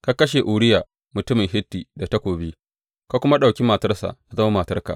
Ka kashe Uriya mutumin Hitti da takobi, ka kuma ɗauki matarsa tă zama matarka.